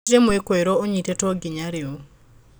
Gũtĩrĩ mwĩkũĩro ũnyitĩtwo nginya rĩu.